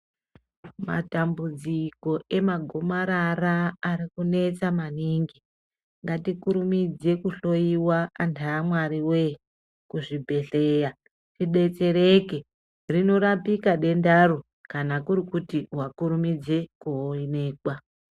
Matambudziko emagomarara arikunesa maningi. Ngatikurumidze kuhloyiwa antu awwariwee kuzvibhedhleya tidetsereke. Rinorapika dendaro kana kuri kuti wakurumidze kuonekwa.